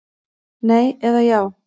Nei eða já.